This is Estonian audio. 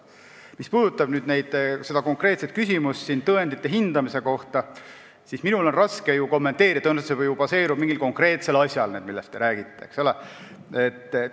Mis puudutab konkreetset küsimust tõendite hindamise kohta, siis minul on raske seda kommenteerida, sest tõenäoliselt baseerub see, millest te räägite, mingil konkreetsel asjal.